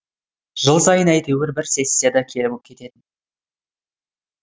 жыл сайын әйтеуір бір сессияда келіп кететін